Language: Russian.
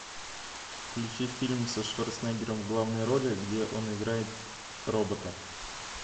включи фильм со шварценеггером в главной роли где он играет робота